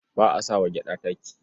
Ba a sa wa gyaɗa taki.